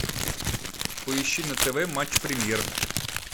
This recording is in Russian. поищи на тв матч премьер